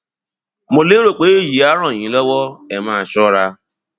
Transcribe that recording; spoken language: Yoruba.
mo lérò pé èyí á ràn yín lọwọ ẹ máa ṣọra